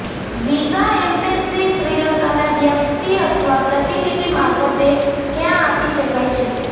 visa embassy શ્રિલંકા ના વ્યક્તિ અથવા પ્રતિનિધિ મારફતે ક્યાં આપી શકાય છે